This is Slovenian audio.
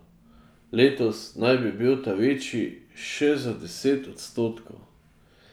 Letos naj bi bil ta večji še za deset odstotkov.